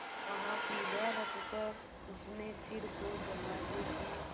वहाँ पीढ़ा रखकर उसने सिर को दरवाजे की